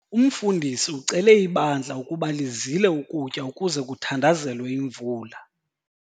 Umfundisi ucele ibandla ukuba lizile ukutya ukuze kuthandazelwe imvula.